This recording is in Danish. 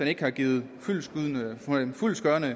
ikke har givet fyldestgørende